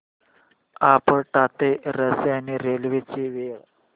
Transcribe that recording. आपटा ते रसायनी रेल्वे ची वेळ